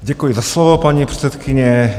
Děkuji za slovo, paní předsedkyně.